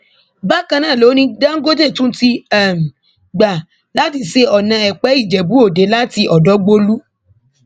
bákan náà ló ní dangote tún ti gbà láti ṣe ọnà èpè ìjẹbú-òde láti ọdọgbòlú